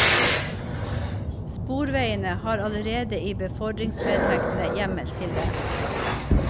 Sporveiene har allerede i befordringsvedtektene hjemmel til det.